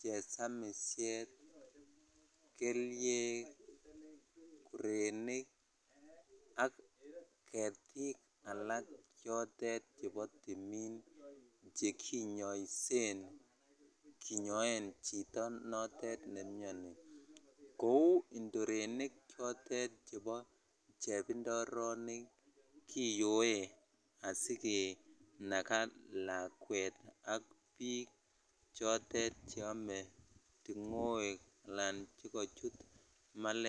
chesamishet, keliek, kuronik ak ketik alak chotet chebo timin chekinyoisen kinyoen chito notet nemiani kou indorenik chotet chebo chebindoroonik kiyoe asikenakaa lakwet ak biik chotet cheame ting'oek alan chekochut malaria.